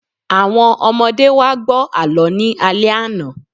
Àwọn ọmọdé wá gbọ́ àlọ́ ní alẹ́ àná